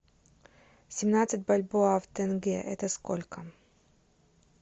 семнадцать бальбоа в тенге это сколько